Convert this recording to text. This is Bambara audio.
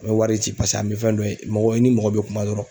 An bɛ wari ci pase an bɛ fɛn dɔ ye mɔgɔ i ni mɔgɔ bɛ kuma dɔrɔn